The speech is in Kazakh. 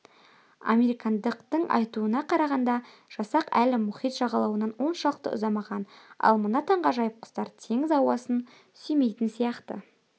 американдықтың айтуына қарағанда жасақ әлі мұхит жағалауынан оншалықты ұзамаған ал мына таңғажайып құстар теңіз ауасын сүймейтін сияқты